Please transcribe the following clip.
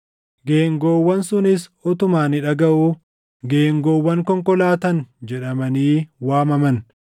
Geengoowwan sunis utuma ani dhagaʼuu, “Geengoowwan konkolaatan” jedhamanii waamaman.